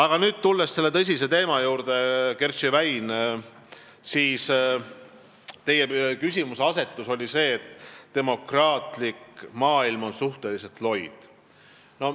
Kui nüüd selle tõsise Kertši väina teema juurde tulla, siis teie küsimuseasetus oli see, et demokraatlik maailm on suhteliselt loid.